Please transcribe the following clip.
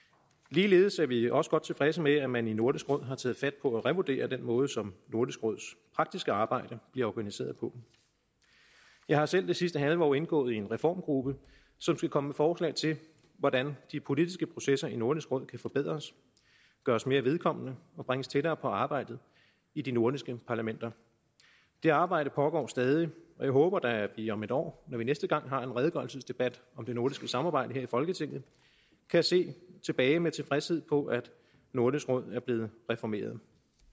ligeledes er vi også godt tilfredse med at man i nordisk råd har taget fat på at revurdere den måde som nordisk råds arktiske arbejde bliver organiseret på jeg har selv det sidste halve år indgået i en reformgruppe som skal komme med forslag til hvordan de politiske processer i nordisk råd kan forbedres gøres mere vedkommende og bringes tættere på arbejdet i de nordiske parlamenter det arbejde pågår stadig og jeg håber da at vi om et år når vi næste gang har en redegørelsesdebat om det nordiske samarbejde her i folketinget kan se tilbage med tilfredshed på at nordisk råd er blevet reformeret